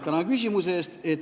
Tänan küsimuse eest!